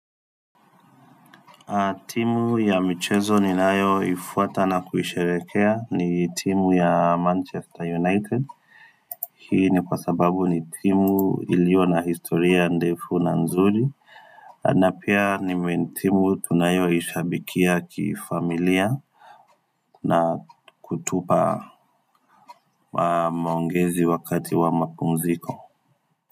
Timu ya michezo ni nayo ifuata na kuhisharekea ni timu ya Manchester United Hii ni kwa sababu ni timu ilio na historia ndefu na nzuri na pia ni timu tunayo ishabikia kifamilia na kutupa maongezi wakati wa makumziko.